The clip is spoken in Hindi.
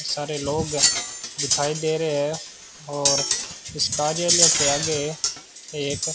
सारे लोग दिखाई दे रहे हैं और इस कार्यालय के आगे एक --